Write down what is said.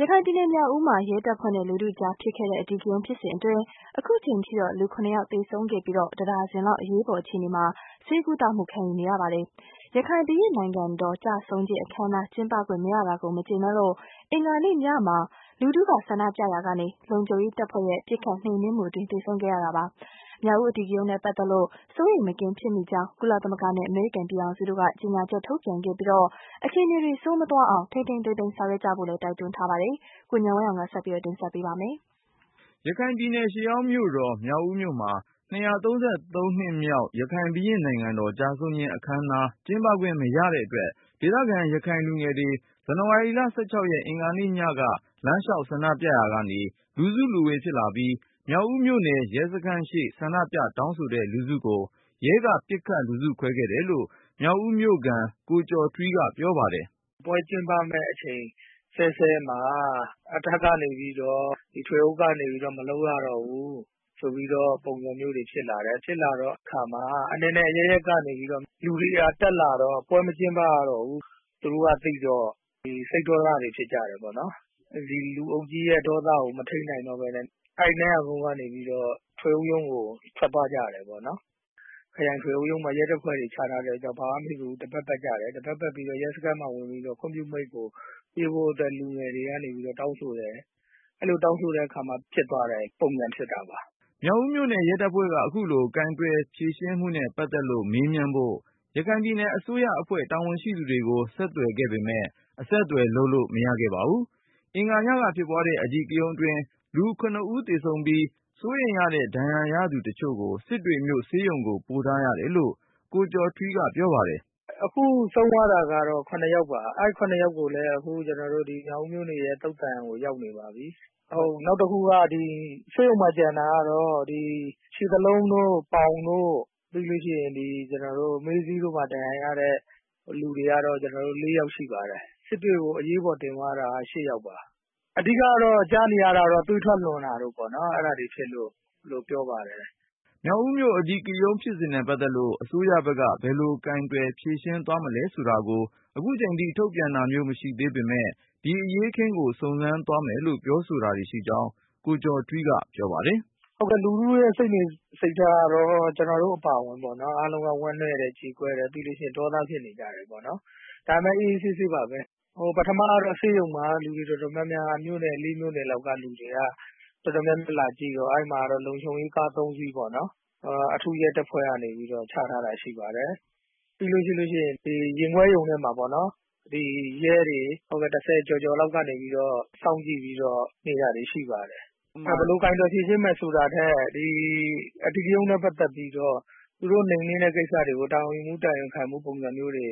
ရခိုင်ပြည်နယ် မြောက်ဦးမှာ ရဲတပ်ဖွဲ့နဲ့ လူထုကြားဖြစ်ခဲ့တဲ့ အဓိကရုဏ်းဖြစ်စဉ်အတွင်း အခုအချိန်ထိ လူ ဦး သေဆုံးခဲ့ပြီး တဒါဇင်လောက် အရေးပေါ် အခြေအနေမှာ ဆေးကုသမှု ခံယူနေရပါတယ်။ ရခိုင် ဘုရင့်နိုင်ငံတော် ကျဆုံးခြင်း အခမ်းအနား ကျင်းပခွင့်မရတာကို မကြေနပ်လို့ အင်္ဂါနေ့ညမှာ လူထုကဆန္ဒပြရာက လုံခြုံရေးတပ်ဖွဲ့ရဲ့ပစ်ခတ်နှိမ်နင်းမှုအတွင်း သေဆုံးခဲ့တာပါ။ မြောက်ဦး အဓိကရုဏ်းနဲ့ ပတ်သက်လို့ စိုးရိမ် မကင်းဖြစ်မိကြောင်း ကုလသမဂ္ဂနဲ့ အမေရိကန်ပြည်ထောင်စုတို့က ကြေညာချက် ထုတ်ပြန်ခဲ့ပြီး အခြေအနေတွေ ဆိုးမသွားအောင် ထိန်းထိန်း သိမ်းသိမ်း ဆောင်ရွက်ကြဖို့ တိုက်တွန်းလိုက်ပါတယ်။ ကိုဉာဏ်ဝင်းအောင်က ဆက်ပြီး တင်ပြပါမယ်။ ရခိုင်ရှေးဟောင်းမြို့တော် မြောက်ဦးမြို့မှာ ၂၃၃ နှစ်မြောက် ရခိုင်ဘုရင့်နိုင်ငံတော် ကျဆုံးခြင်းအခမ်းအနား ကျင်းပခွင့် မရတဲ့အတွက် ဒေသခံ ရခိုင်လူငယ်တွေ ဇန်နဝါရီလ ၁၆ ရက် အင်္ဂါညက လမ်းလျှောက် ဆန္ဒပြရာကနေ လူစုလူဝေး ဖြစ်လာပြီး၊ မြောက်ဦးမြို့နယ် ရဲစခန်းရှေ့ ဆန္ဒပြ တောင်းဆိုတဲ့ လူထုကို ရဲက ပစ်ခတ်လူစုခွဲခဲ့တယ်လို့ မြောက်ဦးမြို့ခံ ကိုကျော်ထွီးက ပြောပါတယ်။ "ပွဲကျင်းပမယ့်အချိန်စဲစဲမှာ အထက်ကနေပြီးတော့ ထွေအုပ်ကနေပြီးတော့ မလုပ်ရတော့ဘူး ဆိုပြီးတော့ ပုံစံမျိုးတွေဖြစ်လာတယ်။ ဖြစ်လာတဲ့အခါမှာ အနယ်နယ်အရပ်ရပ်ကနေပြီးတော့ လူတွေက တက်လာတော့ ပွဲမကျင်းပရတော့ဘူးဆိုတာ သူတို့ကသိတော့ စိတ်ဒေါသတွေဖြစ်ကြတယ်။ ဒီလူအုပ်ကြီးရဲ့ ဒေါသကို မထိန်းနိုင်တော့ပဲနဲ့ အဲဒီကနေပြီးတော့ ထွေအုပ်ရုံးကို ထွက်သွားကြတယ်ပေါ့နော်။ ခရိုင်ထွေအုပ်ရုံးမှာ ရဲတပ်ဖွဲ့တွေချထားတော့ ဘာမှမဖြစ်ဘူး တပတ်ပတ်ကြတယ်၊ တပတ်ပတ်ပြီးတော့ ရဲစခန်းမှာဝင်ပြီးတော့ ခွင့်ပြုမိန့်ကို ပေးဖို့အတွက် လူငယ်တွေကနေပြီးတော့ တောင်းဆိုတယ်။ အဲလိုတောင်းဆိုတဲ့အခါမှာ ဖြစ်သွားတဲ့ ပုံစံဖြစ်တာပါ။" မြောက်ဦးမြို့နယ် ရဲတပ်ဖွဲ့က အခုလို ကိုင်တွယ်ဖြေရှင်းမှုနဲ့ ပတ်သက်လို့ မေးမြန်းဖို့ ရခိုင်ပြည်နယ်အစိုးရအဖွဲ့ တာဝန်ရှိသူတွေကို ဆက်သွယ် ပေမဲ့ အဆက်သွယ်လုပ်လို့ မရခဲ့ပါဘူး။ အင်္ဂါညက ဖြစ်ပွားတဲ့ အဓိကရုဏ်အတွင်း လူ ဦး သေဆုံးပြီး ၊ စိုးရိမ်ရတဲ့ ဒဏ်ရာရသူတချို့ကို စစ်တွေမြို့ ဆေးရုံကို ပို့ထားရတယ်လို့ ကိုကျော်ထွီးက ပြောပါတယ်။ "အခုဆုံးသွားတာကတော့ ၇ ယောက်ပါ။ အဲဒီ၇ ယောက်ကိုလည်း မြောက်ဦးမြို့နယ်ရဲ့ သုသာန် ကိုရောက်နေပါပြီ။ နောက်တဦးကတော့ ဆေးရုံမှာကျန်တာက ခြေသလုံးတို့၊ ပေါင်တို့ ပြီးလို့ရှိရင် ဒီ မေးစေ့မှာ ဒဏ်ရာရတဲ့လူ ၄ ယောက်ရှိပါတယ်။ စစ်တွေကို အရေးပေါ်တင်သွားတာက ၈ ယောက်ပါ။ အဓိက ကြားနေရတာတော့ သွေးထွက်လွန်တာ တို့ဖြစ်လို့ ပြောပါတယ်။" မြောက်ဦးမြို့ အဓိကရုဏ်းဖြစ်စဉ်နဲ့ ပတ်သက်လို့ အစိုးရဘက်က ဘယ်လို ကိုင်တွင်ဖြေရှင်း သွားမလဲဆိုတာကို ထုတ်ပြန်တာမျိုး မရှိသေး ပေမယ့် ဒီအရေးအခင်းကို စုံစမ်းသွားမယ်လို့ ပြောဆိုတာရှိကြောင်း ကိုကျော်ထွီးက ပြောပါတယ်။ "ဟုတ်ကဲ့ လူထုစိတ်နေစိတ်ထားကတော့ ကျနော်တို့အပါအဝင် ဝမ်းနည်းတယ်၊ ကြေကွဲတယ် ပြီးရင် ဒေါသဖြစ်နေကြတယ်ပေါ့နော်။ ဒါပေမယ့် အေးအေးဆေးဆေးပါပဲ။ ပထမကတော့ ဆေးရုံ မှာ လူတွေတော်တော်များများ မြို့နယ် ၄ မြို့နယ်လောက်ကလူတွေက တော်တော်များများလာကြည့်တော့ အဲဒီမှာ လုံခြုံရေးကား ၃ စီးပေါ့နော် အထူးရဲတပ်ဖွဲ့ ကနေပြီးတော့ ချထားတာရှိပါတယ်။ ပြီးရင် ရင်ခွဲရုံထဲမှာပေါ့နော် ရဲတွေ ၁၀ ကျော်ကျော်လောက်ကနေပြီးတော့ စောင့်ကြည့်နေတာတွေရှိတယ်။ ဘယ်လို ကိုင်တွယ်ဖြေရှင်းမယ်ဆိုတာထက် အဓိကရုဏ်းနဲ့ ပတ်သက်ပြီးတော့ သူတို့ နိမ်နင်းတဲ့ ကိစ္စတွေကို တာဝန်ယူမှု တာဝန်ခံမှု ပုံစံမျိုးတွေ